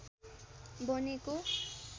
बनेको